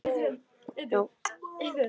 Hjördís: Er þér kalt?